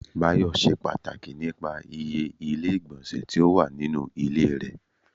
Bayọ ṣe pàtàkì nípa ìyè ilé igbonse tí ó wà nínú ilé rẹ